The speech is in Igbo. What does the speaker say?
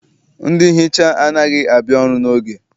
Ndị nhicha anaghị abịa ọrụ n'oge.